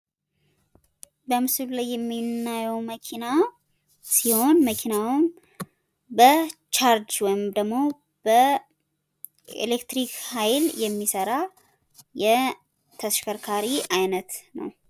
በምስሉ ላይ የምናየዉ መኪና ሲሆን፤ መኪናዉም በቻርጅ ወይም ደሞ በኤሌክትሪክ ኃይል የሚሰራ የተሽከርካሪ አይነት ነዉ።